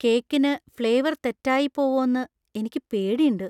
കേക്കിന് ഫ്‌ളെവര്‍ തെറ്റായിപ്പോവോന്നു എനിക്ക് പേടിണ്ട്.